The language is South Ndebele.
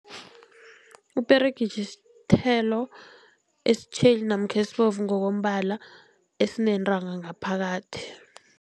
Iperegitjhi sithelo esitjheli namkha esibovu ngokombala esinentanga ngaphakathi.